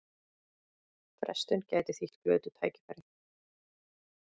Frestun gæti þýtt glötuð tækifæri